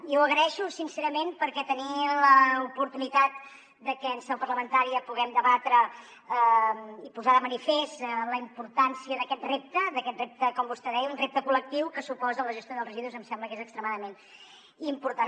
i ho agraeixo sincerament perquè tenir l’oportunitat de que en seu parlamentària puguem debatre i posar de manifest la importància d’aquest repte com vostè deia un repte col·lectiu que suposa la gestió dels residus em sembla que és extremadament important